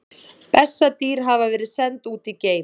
Bessadýr hafa verið send út í geim!